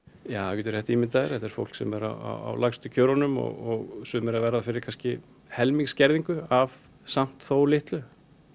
þú getur rétt ímyndað þér þetta er fólk sem er á lægstu kjörunum og sumir að verða fyrir kannski helmings skerðingu af samt þó litlu